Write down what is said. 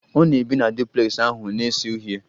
Ọ na-ebi na duplex ahụ na-ese uhie